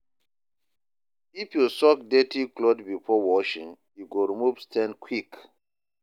If you soak dirty cloth before washing, e go remove stain quick.